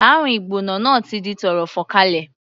Àrùn ìgbóná náà ti di tọ́rọ́ fọ́nkálé.